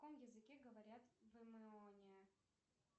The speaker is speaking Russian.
на какомязыке говорят в эмооне